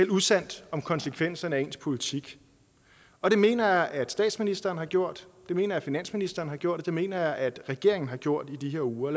usandt om konsekvenserne af ens politik og det mener jeg at statsministeren har gjort og det mener jeg at finansministeren har gjort og det mener jeg at regeringen har gjort i de her uger